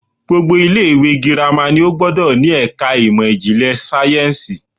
Gbogbo ilé ìwé girama ni ó gbódò ni èka ìmò ìjìnlè sáyénsì